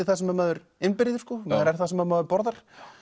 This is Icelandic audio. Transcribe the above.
það sem maður innbyrðir maður er það sem maður borðar